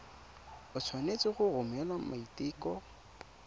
o tshwanetse go romela maiteko